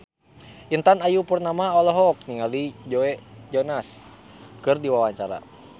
Intan Ayu Purnama olohok ningali Joe Jonas keur diwawancara